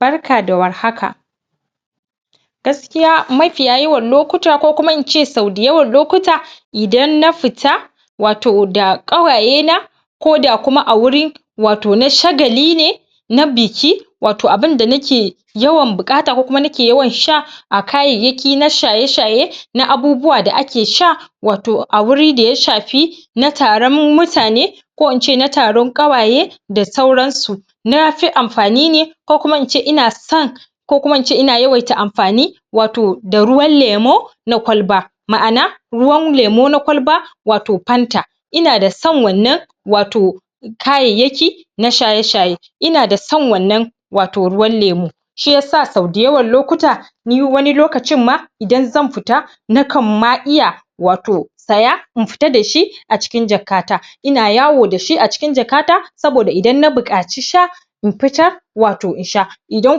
Barka da warhaka. Gaskiya mafiya yawan lokuta ko kuma ince sau dayawan lokuta idan na fita wato da ƙawaye na ko da kuma a wuri wato na shagali ne, na biki wato abinda nake yawan buƙata ko kuma nake yawan sha a kayayyaki na shaye-shaye na abubuwa da ake sha wato a wuri daya shafi na taron mutane ko ince na taron ƙawaye da sauran su, nafi amfani ne ko kuma ince ina san ko kuma ince ina yawaita amfani wato da ruwan lemo na ƙwalba, ma'ana ruwan lemo na ƙwalba wato panta, ina da san wannan wato kayayyaki na shaye-shaye, ina da san wannan wato ruwan lemo, shiyasa sau dayawan lokuta ni wani lokacin ma idan zan fita nakan ma iya wato saya in fita da shi a cikin jaka ta ina yawo da shi a cikin jaka ta saboda idan na buƙaci sha in fitar wato in sha, idan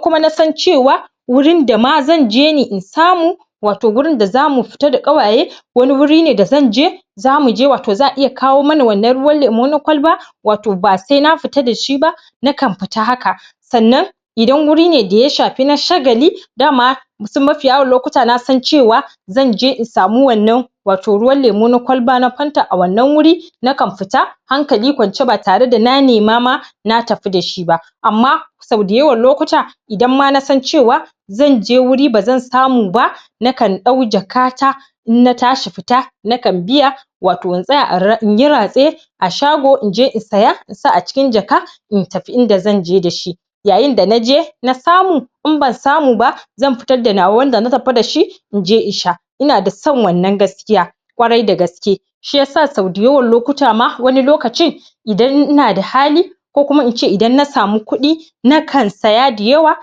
kuma nasan cewa wurin dama zanje ne in samu wato gurin da zamu fita da ƙawaye wani wuri ne da zanje, zamu je wato za'a iya kawo mana wannan ruwan lemo na ƙwalba wato ba sena fita da shi ba nakan fita haka. Sannan idan guri ne daya shafi na shagali dama wasu mafiya yawan lokuta nasan cewa zanje in samu wannan wato ruwan lemo na ƙwalba na panta a wannan wuri nakan fita hankali kwance ba tare da na nema ma na tafi da shi ba amma sau dayawan lokuta idan ma nasan cewa zanje wuri bazan samu ba nakan ɗau jaka ta in na tashi fita nakan biya wato in tsaya inyi ratse a shago inje in saya in sa a cikin jaka in tafi inda zanje da shi yayinda naje na samu in ban samu ba zan fitar da nawa wanda na tafi da shi inje in sha ina da son wannan gaskiya kwarai da gaske shiyasa sau dayawan lokuta ma wani lokacin idan ina da hali ko kuma ince idan na samu kudi na kan saya da yawa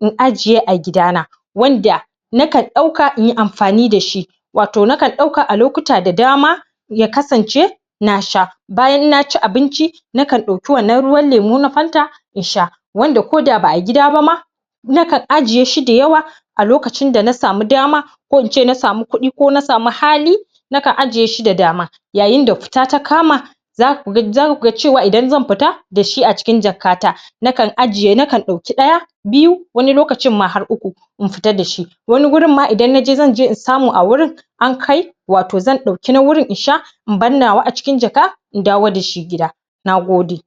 in ajiye a gida na wanda nakan dauka inyi amfani da shi wato nakan dauka a lokuta da dama ya kasance na sha, bayan na ci abinci nakan dauki wannan ruwan lemo na panta in sha wanda koda ba'a gida bama nakan ajiye shi da yawa a lokacin da na samu dama ko ince na samu kudi ko na samu hali nakan ajiyeshi da dama, yayinda fita ta kama za kuga za kuga cewa idan zan fita da shi a cikin jaka ta nakan ajiye nakan dauki daya, biyu wani lokacin ma har uku in fita da shi, wani gurin ma idan naje zanje in samu a wurin an kai wato zan dauki na wurin in sha in bar nawa a cikin jaka in dawo da shi gida, nagode.